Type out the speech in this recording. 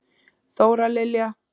Þóra Lilja.